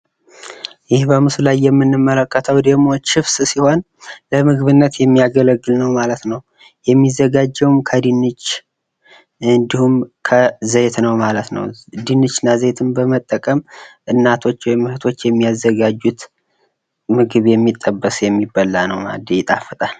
ይህ በምስሉ ላይ የምንመለከተው ደሞ ችፕስ ሲሆን፤ ለምግብነት የሚያገለግል ነው ማለት ነው። የሚዘጋጀውም ከድንች፣ እንዲሁም ከዘይት ነው ማለት ነው፤ ድንች እና ዘይትን በመጠቀም እናቶች ወይም ሴቶች የሚያዘጋጁት ምግብ ነው ማለት ነው። ይጣፍጣል።